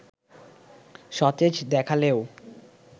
সতেজ দেখালেও